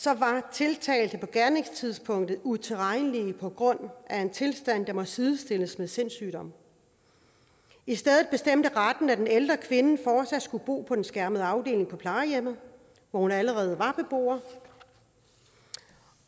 tiltalte på gerningstidspunktet utilregnelig på grund af en tilstand der må sidestilles med sindssygdom i stedet bestemte retten at den ældre kvinde forsat skulle bo på den skærmede afdeling på plejehjemmet hvor hun allerede var beboer